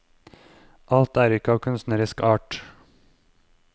Alt er ikke av kunstnerisk art.